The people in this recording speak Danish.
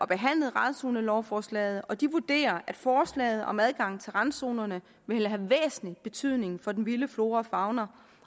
behandlet randzonelovforslaget og de vurderer at forslaget om adgang til randzonerne vil have væsentlig betydning for den vilde flora og fauna